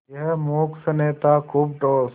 यह मूक स्नेह था खूब ठोस